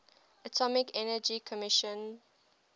atomic energy commission